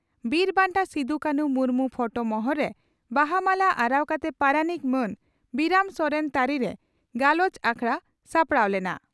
ᱵᱤᱨ ᱵᱟᱱᱴᱟ ᱥᱤᱫᱚᱼᱠᱟᱱᱦᱩ ᱢᱩᱨᱢᱩ ᱯᱷᱚᱴᱚ ᱢᱚᱦᱚᱨ ᱨᱮ ᱵᱟᱦᱟ ᱢᱟᱞᱟ ᱟᱨᱟᱣ ᱠᱟᱛᱮ ᱯᱟᱨᱟᱱᱤᱠ ᱢᱟᱱ ᱵᱤᱨᱟᱢ ᱥᱚᱨᱮᱱ ᱛᱟᱹᱨᱤᱨᱮ ᱜᱟᱞᱚᱪ ᱟᱠᱷᱲᱟ ᱥᱟᱯᱲᱟᱣ ᱞᱮᱱᱟ ᱾